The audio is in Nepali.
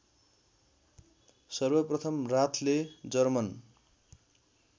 सर्वप्रथम राथले जर्मन